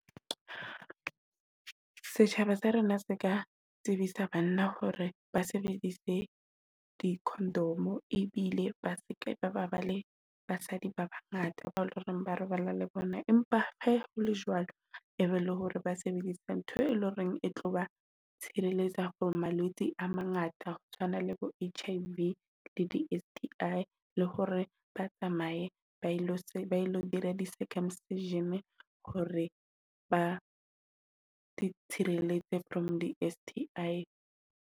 Setjhaba sa rona se ka tsebisa banna hore ba sebedise di-khondomo ebile ba seke ba ba le basadi ba ba ngata ba e leng ba robala le bona. Empa he hole jwalo e be le hore ba sebedisa ntho e leng hore e tlo ba tshireletsa hore malwetse a mangata ho tshwana le bo H_I_V le di-S_T_I le hore ba tsamaye ba ilo dira di circumcision hore ba itshirelletse from di-S_T_I.